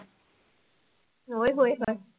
ਓਏ ਹੋਏ ਹੋ